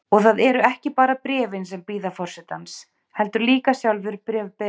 Og það eru ekki bara bréfin sem bíða forsetans, heldur líka sjálfur bréfberinn.